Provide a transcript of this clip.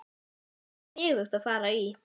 Það var sniðugt að fara í